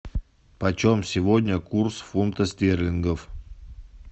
почем сегодня курс фунта стерлингов